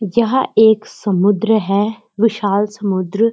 जहां एक समुद्र है विशाल समुद्र।